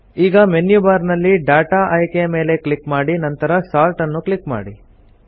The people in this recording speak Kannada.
ಈಗ ಮೆನ್ಯು ಬಾರ್ ನಲ್ಲಿ ಡಾಟಾ ಆಯ್ಕೆಯ ಮೇಲೆ ಕ್ಲಿಕ್ ಮಾಡಿ ನಂತರ ಸೋರ್ಟ್ ನ್ನು ಕ್ಲಿಕ್ ಮಾಡಿ